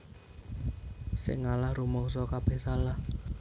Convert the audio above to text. Sing ngalah rumangsa kabeh salah